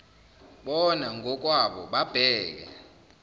bona ngokwabo babheke